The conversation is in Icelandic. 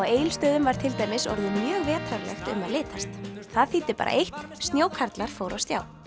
Egilsstöðum var til dæmis orðið mjög vetrarlegt um að litast það þýddi bara eitt snjókarlar fóru á stjá